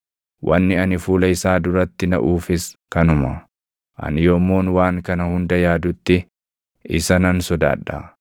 Wanni ani fuula isaa duratti naʼuufis kanuma; ani yommuun waan kana hunda yaadutti isa nan sodaadha.